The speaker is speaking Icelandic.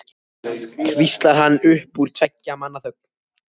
hvíslar hann upp úr tveggja manna þögn.